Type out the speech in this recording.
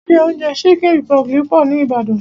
Ilé oúnjẹ chicken republic pọ̀ ní Ìbàdàn.